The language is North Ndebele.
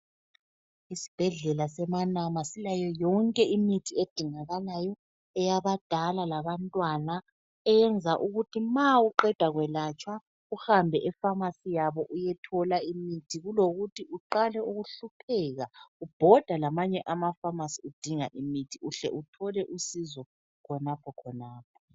Isibhedlela semaNama silayo yonke imithi edingakalayo eyabadala labantwana eyenza ukuthi ma uqeda kwelatshwa uhambe efamasi yabo uyethola imithi kulokuthi uqale ukuhlupheka ubhoda lamanye amafamasi udinga imithi uhle uthole usizo khonaphokhonapho.